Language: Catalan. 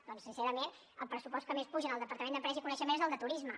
doncs sincerament el pressupost que més puja en el departament d’empresa i coneixement és el de turisme